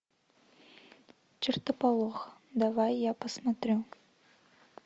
чертополох давай я посмотрю